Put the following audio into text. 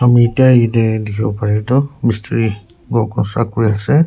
ami itya yetey dikhiwo paretoh mistiri ghor construct kuri ase.